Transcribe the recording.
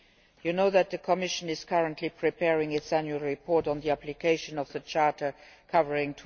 You know that the Commission is currently preparing its annual report on the application of the Charter covering